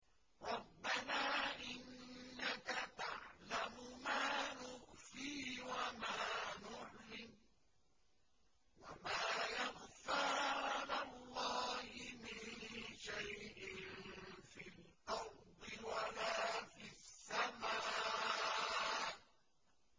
رَبَّنَا إِنَّكَ تَعْلَمُ مَا نُخْفِي وَمَا نُعْلِنُ ۗ وَمَا يَخْفَىٰ عَلَى اللَّهِ مِن شَيْءٍ فِي الْأَرْضِ وَلَا فِي السَّمَاءِ